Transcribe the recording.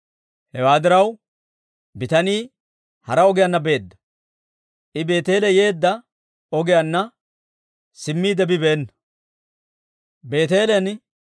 Hewaa diraw, bitanii hara ogiyaanna beedda; I Beeteele yeedda ogiyaanna simmiide bibeena.